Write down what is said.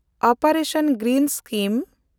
ᱚᱯᱮᱱᱰᱮᱥᱚᱱ greens scheme